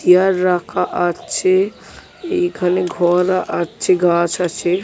Chair রাখা আ-ছ্ছে এইখানে ঘর আছে গাছ আছে ।